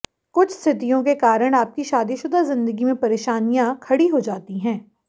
कुछ स्थितियों के कारण आपकी शादीशुदा जिंदगी में परेशानियां खडी हो जाती हैं